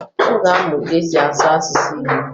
Ọ ga-amụ ka e si asụ asụsụ Igbo